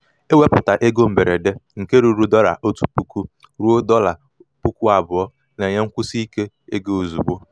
ịweputa ego mberede nke ruru dollar otu puku ruo dolla puku abụọ na-enye nkwụsi ike ego ozugbo.